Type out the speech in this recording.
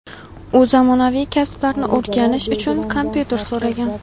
U zamonaviy kasblarni o‘rganish uchun kompyuter so‘ragan.